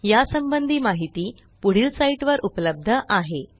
यासंबंधी माहिती पुढील साईटवर उपलब्ध आहे